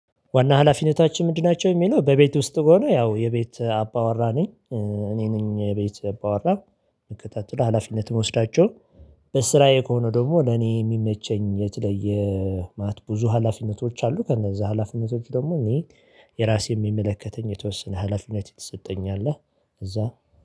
ዋና ሀላፊነታችን ምንድን ናቸው? የሚለው በቤት ውስጥ ሆኖ ያው የቤት አባወራ ነኝ። እኔ ነኝ የቤት አባወራ እንከታተላ ሀላፊነት መውሰዳቸው። በስራዬ ከሆነ ደግሞ ለኔ የሚመቸኝ የት ላይ የማት ብዙ ሀላፊነቶች አሉ። ከነዛ ሀላፊነቶች ደግሞ እኔ የራሴን የሚመለከተኝ የተወሰነ ሀላፊነት የተሰጠኝ አለ። እዛ